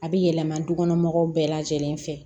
A bɛ yɛlɛma du kɔnɔmɔgɔw bɛɛ lajɛlen fɛ